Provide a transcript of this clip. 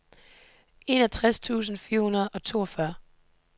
enogtres tusind fire hundrede og toogtyve